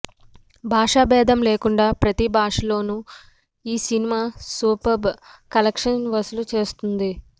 భాషా భేదం లేకుండా ప్రతి భాషలోనూ ఈ సినిమా సూపర్బ్ కలెక్షన్స్ వసూలు చేస్తోంది